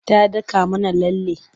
Ta daka mana lalle.